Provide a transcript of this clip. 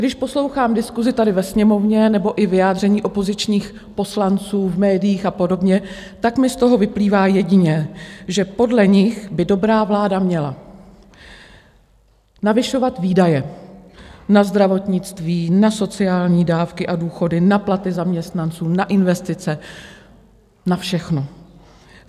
Když poslouchám diskusi tady ve Sněmovně nebo i vyjádření opozičních poslanců v médiích a podobně, tak mi z toho vyplývá jediné, že podle nich by dobrá vláda měla navyšovat výdaje na zdravotnictví, na sociální dávky a důchody, na platy zaměstnanců, na investice, na všechno.